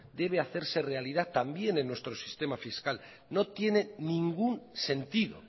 debe hacerse realidad también en nuestro sistema fiscal no tiene ningún sentido